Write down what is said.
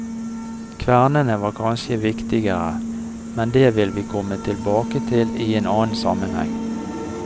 Kvernene var kanskje viktigere, men det vil vi komme tilbake til i en annen sammenheng.